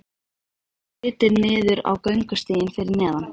Varð litið niður á göngustíginn fyrir neðan.